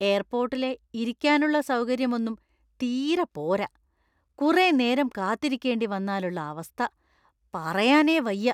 എയർപോർട്ടിലെ ഇരിക്കാനുള്ള സൗകര്യം ഒന്നും തീരെ പോര; കുറേ നേരം കാത്തിരിക്കേണ്ടി വന്നാലുള്ള അവസ്ഥ പറയാനേ വയ്യ.